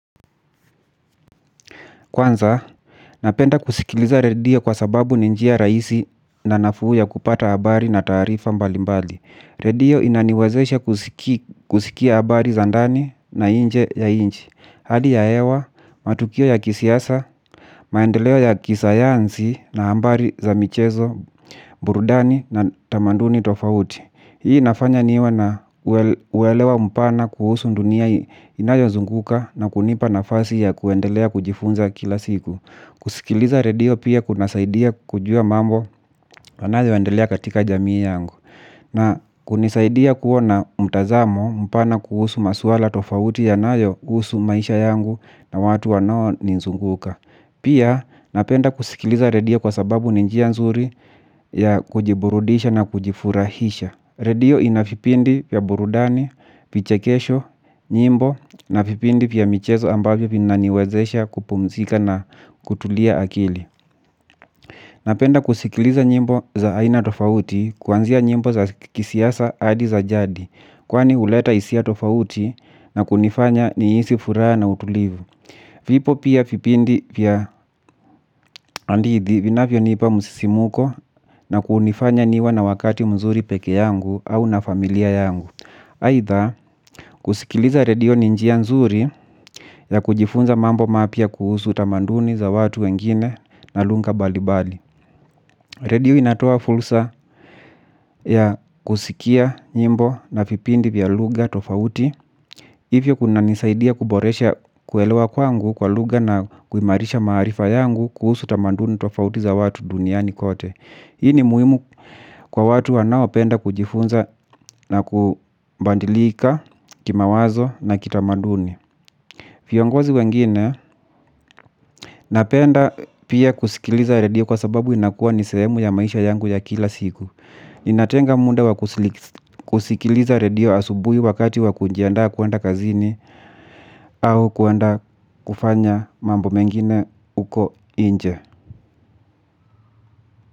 Kwanza, napenda kusikiliza redio kwa sababu ni njia raisi na nafuu ya kupata habari na taarifa mbalimbali. Redio inaniwezeshe kusikia habari za ndani na inje ya inchi. Hali ya hewa, matukio ya kisiasa, maendeleo ya kisayansi na hambari za michezo, burudani na tamanduni tofauti. Hii inafanya niwe na uwelewa mpana kuhusu ndunia inayozunguka na kunipa nafasi ya kuendelea kujifunza kila siku. Kusikiliza redio pia kunasaidia kujua mambo yanayo endelea katika jamii yangu na kunisaidia kuwa na mtazamo mpana kuhusu maswala tofauti yanayo kuhusu maisha yangu na watu wanao nizunguka. Pia napenda kusikiliza redio kwa sababu ni njia nzuri ya kujiburudisha na kujifurahisha. Redio ina vipindi vya burudani, vichekesho, nyimbo, na vipindi vya michezo ambavyo vina niwezesha kupumzika na kutulia akili. Napenda kusikiliza nyimbo za aina tofauti kuanzia nyimbo za kisiasa hadi za jadi, kwani huleta hisia tofauti na kunifanya niisi furaha na utulivu. Vipo pia vipindi vya andidhi vinavyo nipa msisimuko na kunifanya niwe na wakati mzuri peke yangu au na familia yangu. Haitha, kusikiliza redio ni njia nzuri ya kujifunza mambo mapya kuhusu tamanduni za watu wengine na lunga bali bali redio inatoa fulsa ya kusikia nyimbo na vipindi vya lugha tofauti. Ivyo kuna nisaidia kuboresha kuelewa kwangu kwa lugha na kuimarisha maarifa yangu kuhusu tamanduni tofauti za watu duniani kote. Hii ni muhimu kwa watu wanao penda kujifunza na kubandilika kimawazo na kitamaduni. Fiongozi wengine napenda pia kusikiliza redio kwa sababu inakua ni sehemu ya maisha yangu ya kila siku. Inatenga muda wa kusikiliza redio asubui wakati wa kunjiandaa kuenda kazini au kuenda kufanya mambo mengine uko inje.